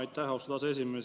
Aitäh, austatud aseesimees!